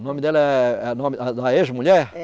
O nome dela é, a nome, ah da ex-mulher? É.